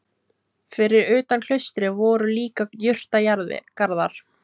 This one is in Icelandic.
Fyrir utan klaustrið voru líka jurtagarðar.